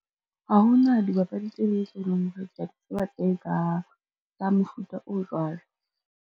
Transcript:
Ha ho na dibapadi tse ding tse e leng hore, kea di tseba tsa mofuta o jwalo.